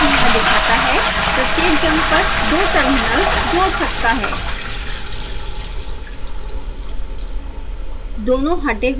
इनका युग्म यहाँ दिखता है प्रत्येक जम्पर दो टर्मिनल्स जोड़ सकता है